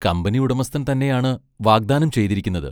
കമ്പനിയുടമസ്ഥൻ തന്നെയാണ് വാഗ്ദാനം ചെയ്തിരിക്കുന്നത്.